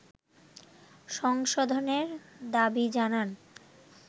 সংশোধনের দাবি জানান